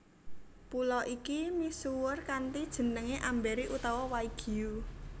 Pulo iki misuwur kanthi jeneng Amberi utawa Waigiu